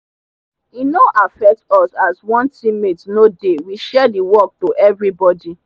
e no affect us as one teammate no dey— we share the work to everybody.